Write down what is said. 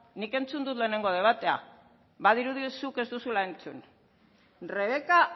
nik entzun dut lehenengo debatea badirudi zuk ez duzula entzun rebeka